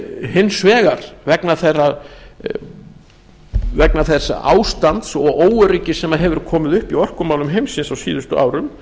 hins vegar vegna þess ástands og óöryggis sem hefur komið upp í orkumálum heimsins á síðustu árum